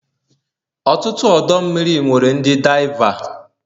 ọtụtụ ọdọ mmiri nwere ndi diava